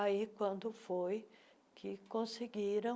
Aí, quando foi que conseguiram